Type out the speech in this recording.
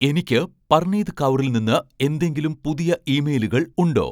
എനിക്ക് പർണീത് കൗറിൽ നിന്ന് എന്തെങ്കിലും പുതിയ ഇമെയിലുകൾ ഉണ്ടോ